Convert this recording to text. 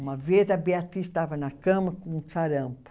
Uma vez a Beatriz estava na cama com sarampo.